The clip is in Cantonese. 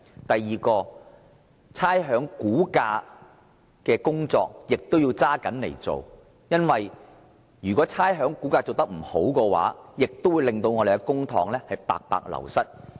第二點，必須嚴格執行差餉估價的工作，因為如果這方面的工作做得不好，會令公帑白白流失。